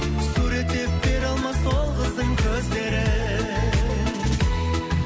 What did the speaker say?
суреттеп бере алмас ол қыздың көздерін